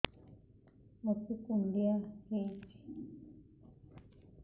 ମୋତେ କୁଣ୍ଡିଆ ହେଇଚି